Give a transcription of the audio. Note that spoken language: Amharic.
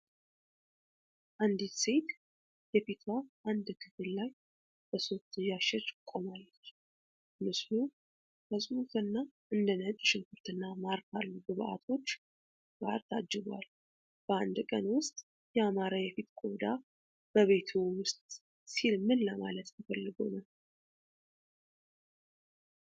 አንዲት ሴት የፊቷ አንድ ክፍል ላይ በሶፍት እያሸች ቆማለች። ምስሉ ከጽሑፍ እና እንደ ነጭ ሽንኩርትና ማር ካሉ ግብአቶች ጋር ታጅቧል። በ1ቀን ውስጥ ያማረ የፊት ቆዳ በቤትዎ ውስጥ ሲል ምን ለማለት ተፈልጎ ነው?